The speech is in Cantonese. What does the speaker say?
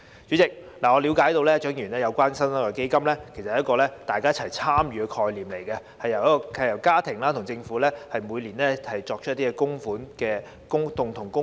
主席，據我了解，蔣麗芸議員議案中的"新生代基金"，是一個大家一起參與的概念，由家庭與政府每年共同供款。